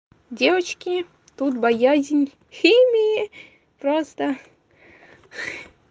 девочки тут боязнь химии просто